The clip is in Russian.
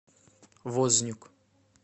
вознюк